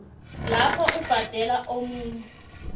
lapho ubhadelela omunye